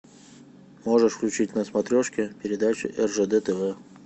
можешь включить на смотрешке передачу ржд тв